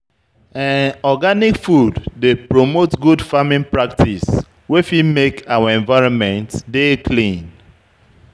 Organic food dey promote good farming practice wey fit make our environment dey clean